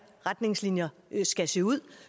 retningslinjer skal se ud